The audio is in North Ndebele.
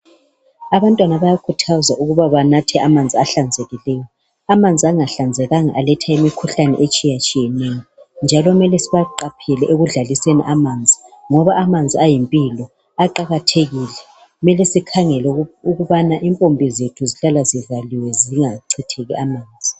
Abantwana bayakhuthazwa ukuthi banathe amanzi ahlanzekileyo. Amanzi angahlanzekanga aletha imikhuhlane etshiyatshiyeneyo. Njalo kumele sibaqaphele bengadlaliseni amanzi ngoba amanzi ayimpilo. Aqakathekile kumele sikhangele ukubana impompi zethu zihlala zivaliwe zingachitheki amanzi.